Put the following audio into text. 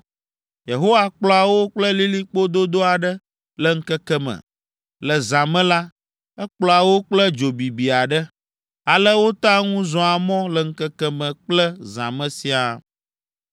Yehowa kplɔa wo kple lilikpo dodo aɖe le ŋkeke me. Le zã me la, ekplɔa wo kple dzo bibi aɖe. Ale wotea ŋu zɔa mɔ le ŋkeke me kple zã me siaa.